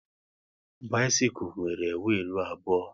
Bisikul nwere wiilu abụọ